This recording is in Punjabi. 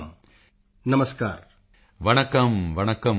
ਵਣੱਕਮ ਵਣੱਕਮ ਉਂਗਲੱਕੇ ਇੰਦ ਲਾਇਬ੍ਰੇਰੀ ਆਈਡਿਆ ਯੇਪੜੀ ਵੰਦਦਾ